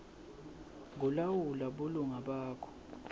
kulawula bulunga bakho